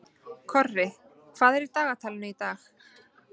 Korri, hvað er í dagatalinu í dag?